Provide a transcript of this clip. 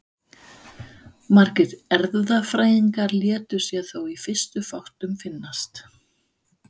Margir erfðafræðingar létu sér þó í fyrstu fátt um finnast.